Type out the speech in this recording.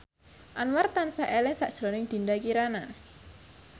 Anwar tansah eling sakjroning Dinda Kirana